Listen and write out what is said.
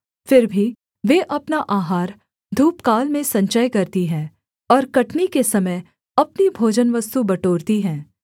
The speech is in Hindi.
फिर भी वे अपना आहार धूपकाल में संचय करती हैं और कटनी के समय अपनी भोजनवस्तु बटोरती हैं